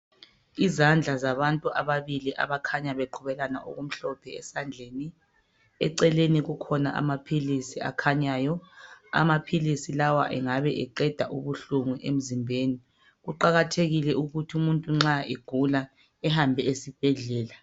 Izandla zabantu ababili abakhanya beqhubelana okumhlope esandleni. Eceleni kukhona amaphilisi akhanyayo. Amaphilisi lawa engabe eqeda ubuhlungu emzimbeni. Kuqakathekile ukuthi umuntu nxa egula ehambe esibhedlela.